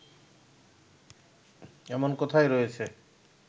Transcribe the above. এমন কথাই রয়েছে